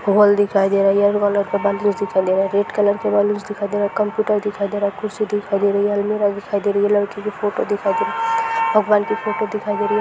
Hall दिखाई दे रहा है येलो कलर के बलून्स दिखाई दे रहे है रेड कलर के बलून्स दिखाई दे रहे है कंप्यूटर दिखाई दे रहा है कुर्सी भी दिखाई दे रही है अलमिरा दिखाई दे रही है लड़की की फोटो दिखाई दे रही है भगवान की फ़ोटो दिखाई दे रही है।